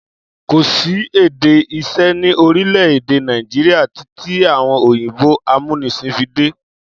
Kò sí èdè iṣẹ́ ni orílẹ̀-èdè Nàìjíríà títí àwọn òyìnbó amúnisìn fi dé.